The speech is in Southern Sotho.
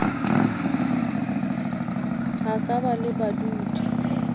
a ka ba le badudi